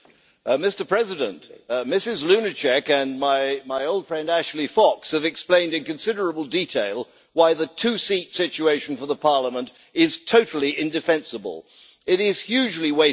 Mr President, Ms Lunacek and my old friend Ashley Fox have explained in considerable detail why the two seat situation for the Parliament is totally indefensible. It is hugely wasteful.